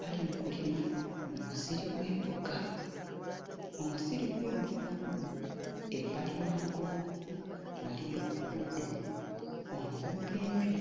bali mu kulima mu musiri gw'emboga. Omusiri gw'emboga guno ebbali waagwo waliyo omuddo omumpimpi.